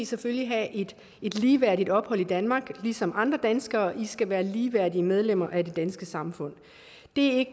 selvfølgelig have et ligeværdigt ophold i danmark som andre danskere de skal være ligeværdige medlemmer af det danske samfund det